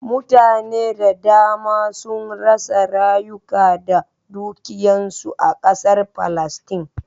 Mutane da dama sun rasa rayuka da dukiyan su a ƙasar Palestine.